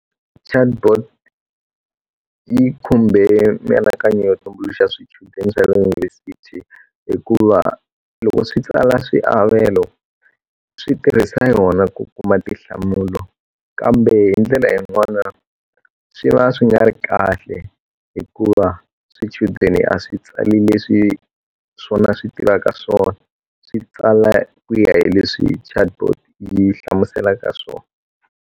Chatbot yi khumbe mianakanyo yo tumbuluxa swichudeni swa le yunivhesiti hikuva loko swi tsala swiavelo swi tirhisa yona ku kuma tinhlamulo kambe hi ndlela yin'wana swi va swi nga ri kahle hikuva swichudeni a swi tsali leswi swona swi tivaka swona swi tsala ku ya hi leswi chatbot yi hlamuselaka swona.